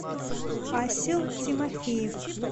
асил тимофеев